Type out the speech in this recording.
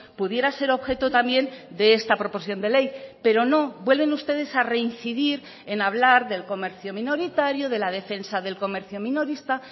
pudiera ser objeto también de esta proposición de ley pero no vuelven ustedes a reincidir en hablar del comercio minoritario de la defensa del comercio minorista